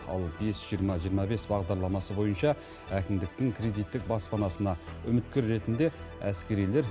ал бес жиырма жиырма бес бағдарламасы бойынша әкімдіктің кредиттік баспанасына үміткер ретінде әскерилер